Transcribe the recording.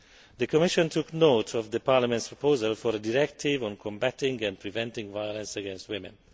The Commission took note of Parliament's proposal for a directive on combating and preventing violence against women.